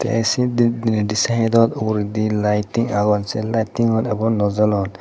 tey sindit dineidi sydot uguredi liting agon se litingun abo naw jolon.